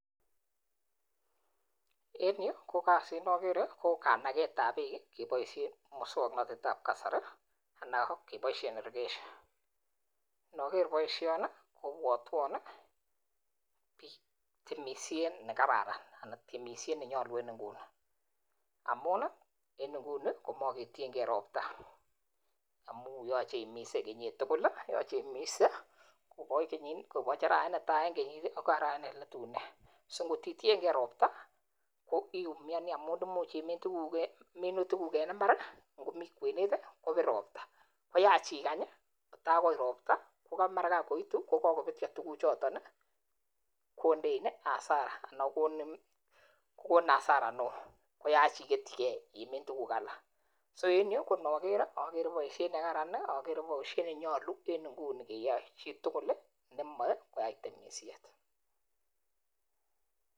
En yu kokasit nakere kokanaket ap bek kebaishen mosongnatit ap kasari anan kebaisoshe irrigation naker boisioni kopwatwan pik chetemishe nekararan anan temishet nenyalu en nguni, amun en nguni komaketienke ropta, amu yache ipis kenyit tukul , ko ngete arawet netai akoi arawet neletunen , si koktitienke ropta koiumiani amin imuche imin tukuk minutik kuk en imbar komi kwenet kopir ropta koyach ikany kotakoit ropta komara ngakoitu kokakoptcha tukuchoton kondein hasara anan kokonin hasara neoo koyach iketchike imin tukuk alak, so en yu ko naker akere boisiet nekararan akere baishet nenyalu en nguni keyae chitukul nemae koyai temishet.